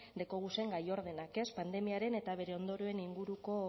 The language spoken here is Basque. dekoguzen gai ordenak ez pandemiaren eta bere ondorioen inguruko